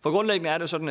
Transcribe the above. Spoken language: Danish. for grundlæggende er det sådan at